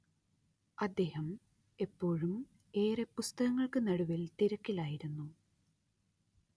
അദ്ദേഹം എപ്പോഴും ഏറെ പുസ്തകങ്ങൾക്കുനടുവിൽ തിരക്കിലായിരുന്നു